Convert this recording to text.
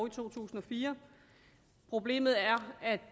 i to tusind og fire problemet er at